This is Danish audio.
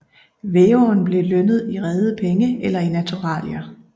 Væveren blev lønnet i rede penge eller i naturalier